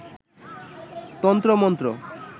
তন্ত্র মন্ত্র